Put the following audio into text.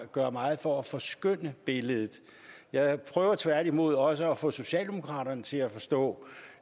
gør meget for at forskønne billedet jeg prøver tværtimod også at få socialdemokraterne til at forstå